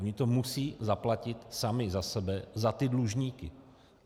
Oni to musí zaplatit sami za sebe za ty dlužníky.